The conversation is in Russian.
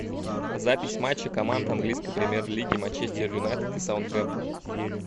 запись матча команд английской премьер лиги манчестер юнайтед и саутгемптон